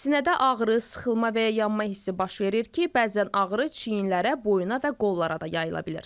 Sinədə ağrı, sıxılma və ya yanma hissi baş verir ki, bəzən ağrı çiyinlərə, boyuna və qollara da yayıla bilir.